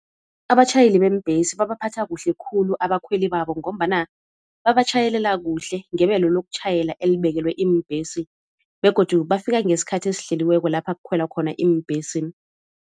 Abatjhayeli beembhesi babaphatha kuhle khulu abakhweli babo ngombana babatjhayelela kuhle ngebelo lokutjhayela elibekelwe iimbhesi, begodu bafika ngesikhathi esihleliweko lapha kukhwelwa khona iimbhesi.